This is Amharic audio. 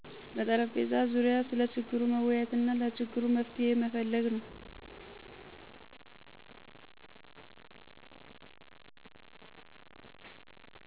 በጠረጴዛ ዙሪያ ስለ ችግሩ መወያየትና ለችግሩ መፍትሄ መፈለግ ነው።